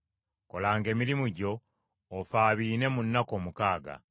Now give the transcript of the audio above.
Kolanga emirimu gyo, ofaabiine mu nnaku omukaaga,